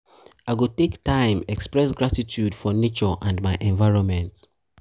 i go take time to express gratitude for nature and my environment.